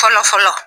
Fɔlɔ fɔlɔ